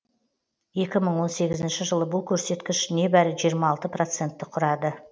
екі мың он сегізінші жылы бұл көрсеткіш небәрі жиырма алты процентті құрады